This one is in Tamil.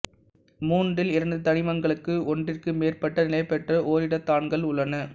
மூன்றில் இரண்டு தனிமங்களுக்கு ஒன்றிற்கு மேற்பட்ட நிலைபெற்ற ஓரிடத்தான்கள் உள்ளன